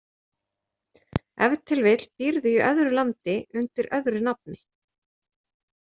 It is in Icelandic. Ef til vill býrðu í öðru landi undir öðru nafni.